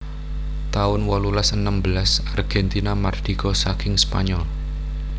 taun wolulas enem belas Argentina mardika saking Spanyol